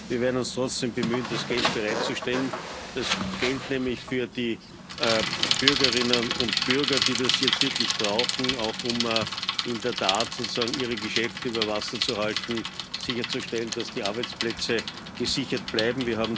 Aber wir werden uns trotzdem bemühen, das Geld bereitzustellen nämlich das Geld für die Bürgerinnen und Bürger die das jetzt wirklich brauchen, auch um in der Tat sozusagen ihre Geschäfte über Wasser zu halten, das Geld, um sicherzustellen, dass die Arbeitsplätze gesichert bleiben.